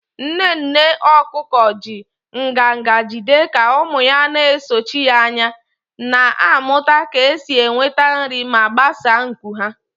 Nne nne okuko ji nganga jigide ka ụmụ ya na-esochi ya anya, na-amụta ka esi enweta nri ma gbasaa nku ha.